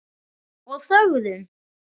Og þögðum.